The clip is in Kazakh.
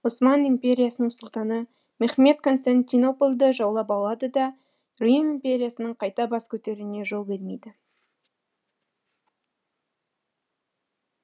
осман империясының сұлтаны мехмед константинополді жаулап алады да рим империясының қайта бас көтеруіне жол бермейді